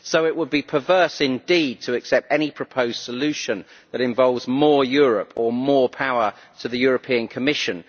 So it would be perverse indeed to accept any proposed solution that involves more Europe or more power to the European Commission.